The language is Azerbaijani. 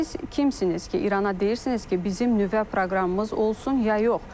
Siz kimsiniz ki İrana deyirsiniz ki bizim nüvə proqramımız olsun ya yox?